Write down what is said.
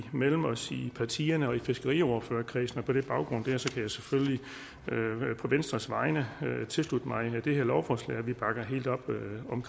imellem os i partierne og i fiskeriordførerkredsen på den baggrund kan jeg selvfølgelig på venstres vegne tilslutte mig det her lovforslag og vi bakker helt op om